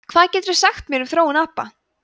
hvað geturðu sagt mér um þróun apa